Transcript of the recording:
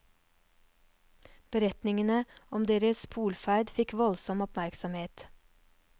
Beretningene om deres polferd fikk voldsom oppmerksomhet.